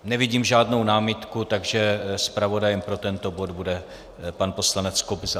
Nevidím žádnou námitku, takže zpravodajem pro tento bod bude pan poslanec Kobza.